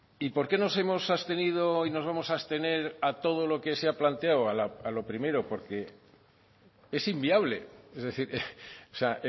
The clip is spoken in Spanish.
y por qué nos hemos abstenido y nos vamos a abstener a todo lo que se ha planteado a lo primero porque es inviable es decir o sea